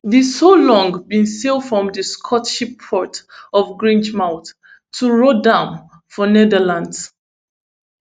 di solong bin sail from di scottish port of grangemouth to rotterdam for netherlands